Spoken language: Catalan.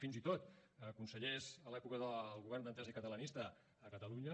fins i tot consellers a l’època del govern d’entesa i catalanista a catalunya